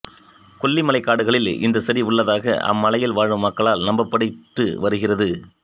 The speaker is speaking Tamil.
கொல்லி மலை காடுகளில் இந்த செடி உள்ளதாக அம் மலையில் வாழும் மக்களால் நம்பப்பட்டுவருகிறது